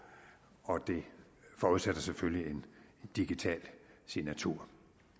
og det forudsætter selvfølgelig en digital signatur